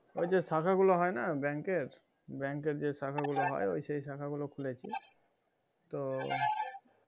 ওই যে শাখা গুলো হয়না bank এর bank এর যে শাখা গুলো হয় ওই শাখা গুলো খুলেছি তো